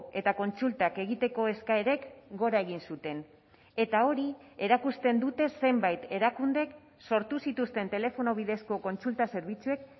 eta kontsultak egiteko eskaerek gora egin zuten eta hori erakusten dute zenbait erakundek sortu zituzten telefono bidezko kontsulta zerbitzuek